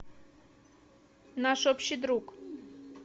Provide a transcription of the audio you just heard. наш общий друг